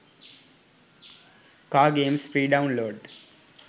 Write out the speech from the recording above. car games free download